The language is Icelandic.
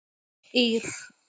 Ír